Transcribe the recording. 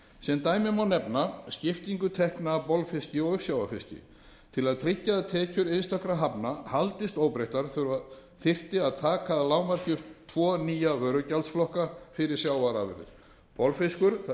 sem dæmi má nefna skiptingu tekna af bolfiski og uppsjávarfiski til að tryggja að tekjur einstakra hafna haldist óbreyttar þyrfti að taka að lágmarki upp tvo nýja vörugjaldsflokka fyrir sjávarafurðir bolfiskur það er